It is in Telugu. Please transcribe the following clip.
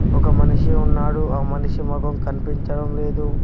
ఒక మనిషి ఉన్నాడు ఆ మనిషి మొఖం కనిపించడం లేదు.